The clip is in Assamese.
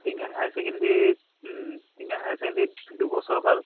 Tingkhong higher secondary um Tingkhong higher secondary ত দুবছৰ কাল